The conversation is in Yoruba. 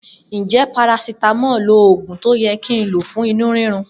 Njẹ parasitamọ lo òògùn tó yẹ kí nlo fún inú rírun?